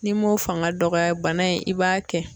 Ni mun fanga dɔgɔyara bana in i b'a kɛ.